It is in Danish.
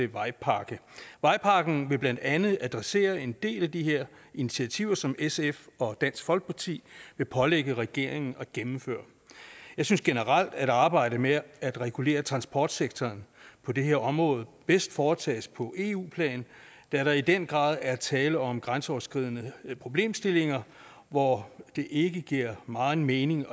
vejpakke vejpakken vil blandt andet adressere en del af de her initiativer som sf og dansk folkeparti vil pålægge regeringen at gennemføre jeg synes generelt at arbejdet med at regulere transportsektoren på det her område bedst foretages på eu plan da der i den grad er tale om grænseoverskridende problemstillinger hvor det ikke giver meget mening